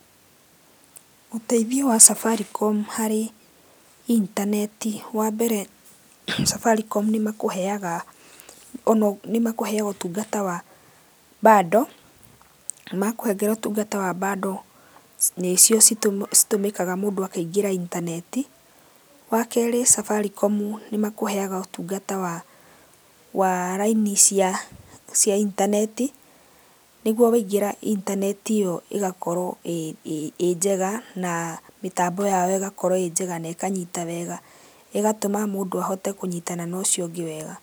Ũteithio wa Safaricom harĩ intaneti, wambere ,Safaricom nĩ makũheaga, nĩ makũheaga ũtungata wa bando. Makũhengera ũtungata wa bando nĩcio citũmĩkaga mũndũ akĩingĩra intaneti. Wakeerĩ Safaricom nĩ makũheaga ũtungata wa laini cia intaneti, nĩgũo waingĩra intaneti ĩyo ĩgakorwo ĩnjega na mĩtambo yao ĩgakorwo ĩnjega na ĩkanyita wega, ĩgatũma mũndũ ahote kũnyitana na ũcio ũngĩ wega.